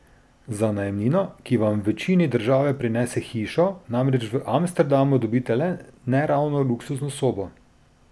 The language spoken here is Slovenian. Za najemnino, ki vam v večini države prinese hišo, namreč v Amsterdamu dobite le ne ravno luksuzno sobo!